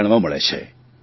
તે જાણવા મળે છે